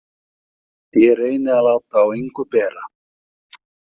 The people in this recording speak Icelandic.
Ég reyni að láta á engu bera.